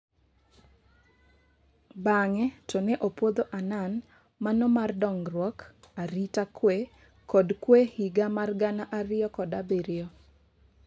Bang'e to ne opwodho Annan mano mar dongruok ,arita kwee kod kwee higa mar gana ariyo kod abirio.